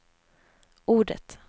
ordet